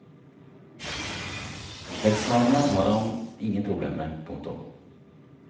Slektsnavnet har han ingen problemer med. punktum